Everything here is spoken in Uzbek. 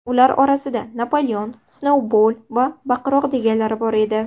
Ular orasida Napoleon, Snoubol va Baqiroq deganlari bor edi.